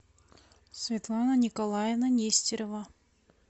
светлана николаевна нестерова